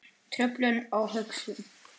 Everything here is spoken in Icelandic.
Truflun á hugsun